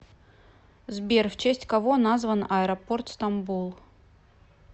сбер в честь кого назван аэропорт стамбул